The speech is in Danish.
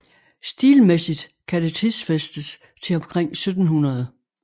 Stilmæssigt kan det tidsfæstes til omkring 1700